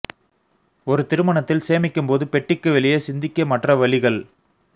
ஒரு திருமணத்தில் சேமிக்கும் போது பெட்டிக்கு வெளியே சிந்திக்க மற்ற வழிகள்